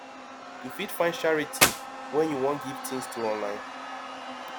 you fit find charity wey you wan give things to online